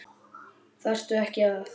Þarftu ekki að.?